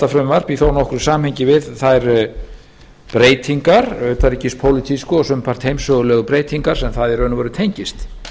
í þó nokkru samhengi við þær breytingar utanríkispólitísku og sumpart heimssögulegu breytingar sem það í raun og veru tengist